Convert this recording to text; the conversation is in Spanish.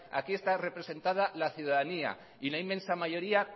aquí está presentada la ciudadanía y la inmensa mayoría